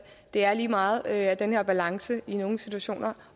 det er lige meget at den her balance i nogle situationer